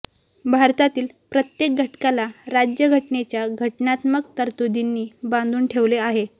भारतातील प्रत्येक घटकाला राज्यघटनेच्या घटनात्मक तरतुदींनी बांधून ठेवलं आहे